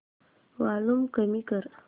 volume कमी कर